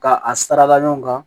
Ka a sara ɲɔgɔn kan